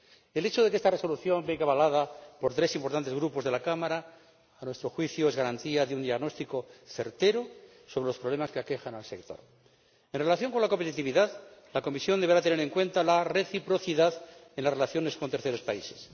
El hecho de que esta Resolución venga avalada por tres importantes grupos de la Cámara es, a nuestro juicio, garantía de un diagnóstico certero sobre los problemas que aquejan al sector. En relación con la competitividad, la Comisión deberá tener en cuenta la reciprocidad en las relaciones con terceros países.